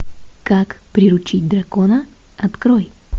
как приручить дракона открой